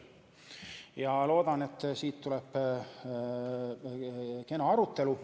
Ma loodan, et siit tuleb kena arutelu.